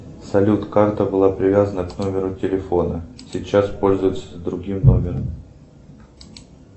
салют карта была привязана к номеру телефона сейчас пользуется другим номером